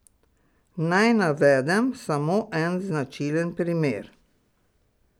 Naj navedem samo en značilen primer.